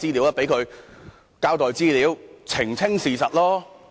就讓他前來交代資料，澄清事實吧。